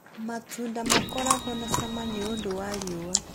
Matunda makoragwo na cama nĩũndũ wa riũa